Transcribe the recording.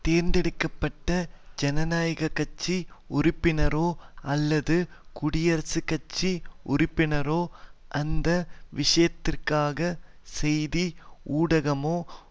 தேர்ந்தெடுக்க பட்ட ஜனநாயக கட்சி உறுப்பினரோ அல்லது குடியரசுக்கட்சி உறுப்பினரோ அந்த விஷயத்திற்காக செய்தி ஊடகமோ